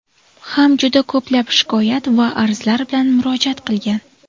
ham juda ko‘plab shikoyat va arzlar bilan murojaat qilgan.